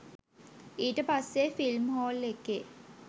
ඊට පස්සේ film hall එකේ